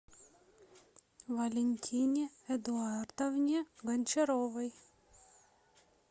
валентине эдуардовне гончаровой